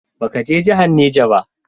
Ba ka je jahar Niger ba?